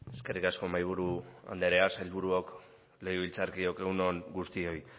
eskerrik asko mahaiburu andrea sailburuok legebiltzarkideok egun on guztioi